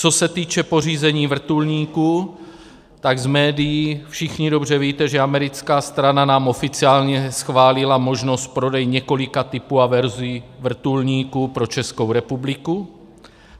Co se týče pořízení vrtulníků, tak z médií všichni dobře víte, že americká strana nám oficiálně schválila možnost prodeje několika typů a verzí vrtulníků pro Českou republiku.